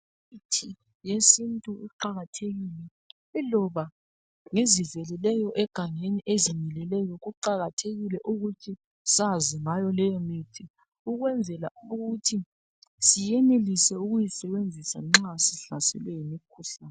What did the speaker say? Imithi yesintu iqakathekile iloba ngeziveleleyo egangeni ezimileleyo kuqakathekile ukuthi sazi ngayo leyo mithi ukwenzela ukuthi siyenelise ukuyisebenzisa nxa sihlaselwe yimkhuhlane